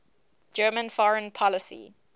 german foreign policy